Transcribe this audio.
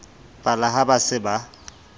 pala ha ba se ba